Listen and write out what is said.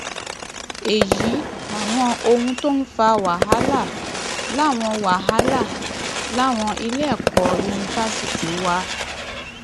èyí làwọn ohun tó ń fa wàhálà láwọn wàhálà láwọn iléẹkọ yunifásitì wa